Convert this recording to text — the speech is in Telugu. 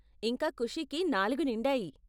ఇంకా ఖుషీకి నాలుగు నిండాయి.